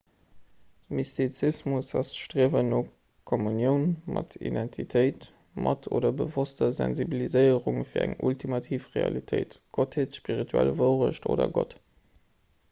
mystizismus ass d'striewen no kommunioun mat identitéit mat oder bewosster sensibiliséierung fir eng ultimativ realitéit gottheet spirituell wouerecht oder gott